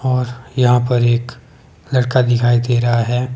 और यहां पर एक लड़का दिखाई दे रहा है।